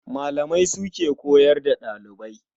Malamai su ke koyar da ɗalibai.